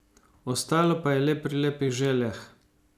Ostalo pa je le pri lepih željah.